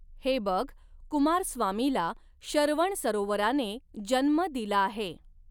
हे बघ, कुमारस्वामीला शरवणसरोवराने जन्म दिला आहे.